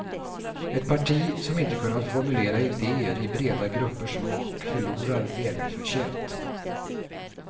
Ett parti som inte kunnat formulera idéer i breda gruppers smak förlorar välförtjänt.